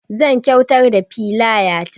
Zan kyuatar da filaya ta